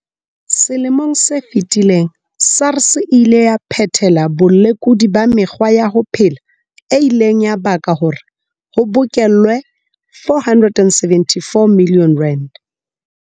Selemong se fetileng, SARS e ile ya phethela bolekudi ba mekgwa ya ho phela e ileng ya baka hore ho bokellwe R474 milione.